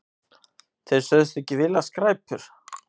Þeir sögðust ekki vilja skræpur.